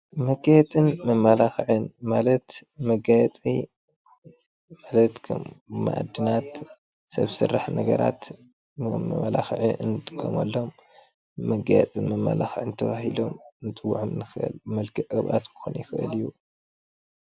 መጋየፅን መመላኽዕን ማለት መጋየፂ መኣድናት ሰብ ስራሕ ነገራት መመላኽዒ እንጥቀመሎም መጋየፅን መመላኽዕን ኢልና ኽንፈልዬም ንኽእል።